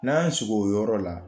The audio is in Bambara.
N'an y'o siko o yɔrɔ la